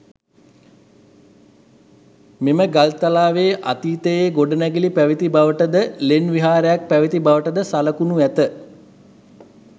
මෙම ගල්තලාවේ අතීතයේ ගොඩනැගිලි පැවති බවට ද ලෙන් විහාරයක් පැවති බවට ද සලකුණු ඇත.